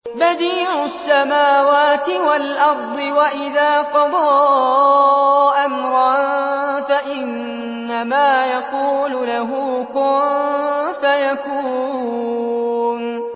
بَدِيعُ السَّمَاوَاتِ وَالْأَرْضِ ۖ وَإِذَا قَضَىٰ أَمْرًا فَإِنَّمَا يَقُولُ لَهُ كُن فَيَكُونُ